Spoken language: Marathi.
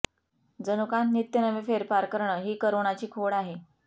जनुकांत नित्य नवे फेरफार करणं ही करोनाची खोड आहे